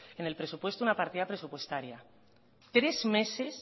en el presupuesto una partida presupuestaria tres meses